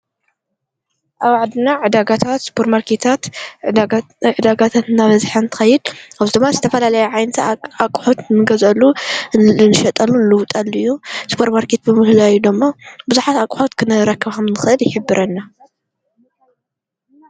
ኣብ ዓድና ዕዳጋታት፣ ስፖር ማርኬታት፣ ዕዳጋታት እናበዝሐ እንቲኸይድ ካብኡ ድማ ዝተፋልለየ ዓይነታት ኣቝሑት ንገዝአሉ ንሸጠሉ ንልውጠል እዩ። ስፖር ማርኬት ብምህላዩ ድማ ብዙሓት ኣቝሕት ክንርክብ ከም እንክእል ይሕብረና።